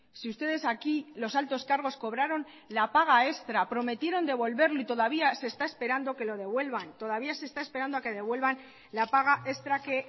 si ustedes aquí los altos cargos cobraron la paga extra prometieron devolverlo y todavía se está esperando que lo devuelvan todavía se está esperando a que devuelvan la paga extra que